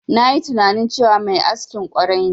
Nayi tunani cewa mai askin ƙwarai ne.